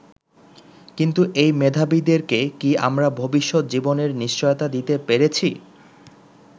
কিন্তু এই মেধাবীদেরকে কি আমরা ভবিষ্যৎ জীবনের নিশ্চয়তা দিতে পেরেছি?